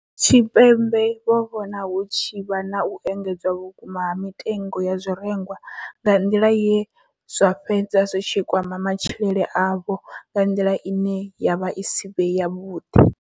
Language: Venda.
Tshipembe vho vhona hu tshi vha na u engedzea vhukuma ha mitengo ya zwirengwa nga nḓila ye zwa fhedza zwi tshi kwama matshilele avho nga nḓila ine ya vha i si vhe yavhuḓi.